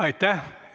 Aitäh!